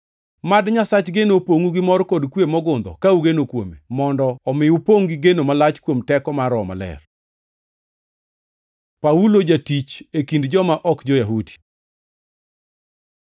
Mad Nyasach geno opongʼu gi mor kod kwe mogundho ka ugeno kuome, mondo omi upongʼ gi geno malach kuom teko mar Roho Maler. Paulo jatich e kind joma ok jo-Yahudi